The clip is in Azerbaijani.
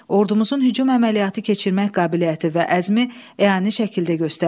Ordumuzun hücum əməliyyatı keçirmək qabiliyyəti və əzmi əyani şəkildə göstərildi.